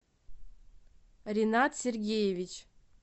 ринат сергеевич